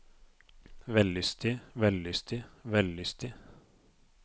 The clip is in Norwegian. vellystig vellystig vellystig